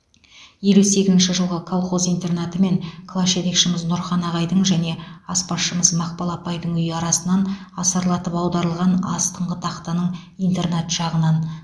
елу сегізінші жылғы колхоз интернаты мен класс жетекшіміз нұрхан ағайдың және аспазшыымыз мақпал апайдың үйі арасынан асарлатып аударылған астыңғы тақтаның интернат жағынан